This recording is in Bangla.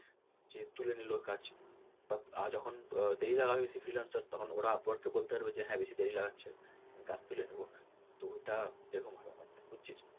যে তুলে নিলো কাজ বা যখন আহ freelancer তখন ওরা upwork কে বলতে পারবে যে হ্যাঁ বেশি দেরি লাগাচ্ছে কাজ তুলে নিবো তো ওটা এরকম হয় ব্যাপার টা বুঝছিস?